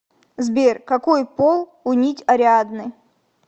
сбер какой пол у нить ариадны